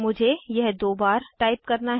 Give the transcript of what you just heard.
मुझे यह दो बार टाइप करना है